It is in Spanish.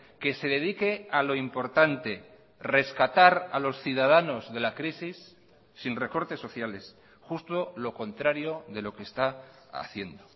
que se dedique a lo importante rescatar a los ciudadanos de la crisis sin recortes sociales justo lo contrario de lo que está haciendo